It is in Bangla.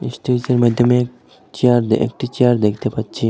এস্টেজের মাধ্যমে চেয়ার একটি চেয়ার দেখতে পাচ্ছি।